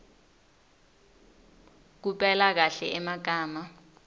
kupela kahle emagama